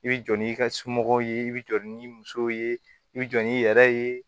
I bɛ jɔ n'i ka somɔgɔw ye i bɛ jɔ ni musow ye i bɛ jɔ n'i yɛrɛ ye